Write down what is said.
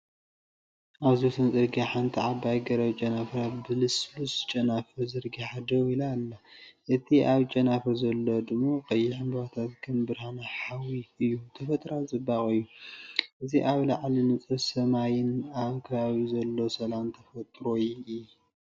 ኣብዚ ወሰን ጽርግያ ሓንቲ ዓባይ ገረብ ጨናፍራ ብልስሉስ ጨናፍር ዘርጊሓ ደው ኢላ ኣላ። እቲ ኣብ ጨናፍር ዘሎ ድሙቕ ቀይሕ ዕምባባታት ከም ብርሃን ሓዊ እዩ፣ ተፈጥሮኣዊ ጽባቐ እዩ። እዚ ኣብ ላዕሊ ንጹር ሰማይን ኣብ ከባቢኡ ዘሎ ሰላም ተፈጥሮን እይ።